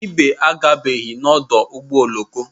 Ibe agabeghị n'ọdụ ụgbọ oloko